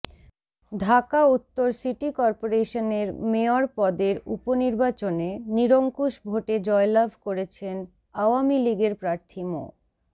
ঢাকা উত্তর সিটি করপোরেশনের মেয়র পদের উপনির্বাচনে নিরঙ্কুশ ভোটে জয়লাভ করেছেন আওয়ামী লীগের প্রার্থী মো